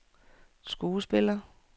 skuespiller